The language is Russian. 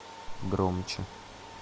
громче